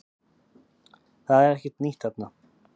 Það er ekkert nýtt þarna